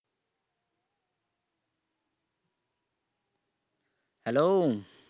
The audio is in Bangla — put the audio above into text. hello